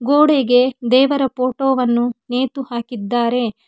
ಗೋಡೆಗೆ ದೇವರ ಫೋಟೋ ವನ್ನು ನೇತು ಹಾಕಿದ್ದಾರೆ.